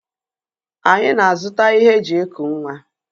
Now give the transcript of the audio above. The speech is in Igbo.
Anyi na-azụta ihe e ji eku nwa.